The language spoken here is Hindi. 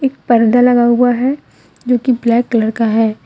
एक पर्दा लगा हुआ है जो की ब्लैक कलर का है।